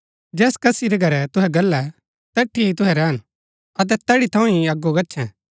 जैस कसी रै घरै तुहै गल्लै तैठी ही तुहै रैहन अतै तैड़ी थऊँ ही अगो गच्छैं